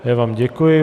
Já vám děkuji.